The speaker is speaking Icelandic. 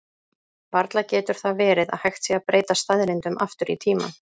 varla getur það verið að hægt sé að breyta staðreyndum aftur í tímann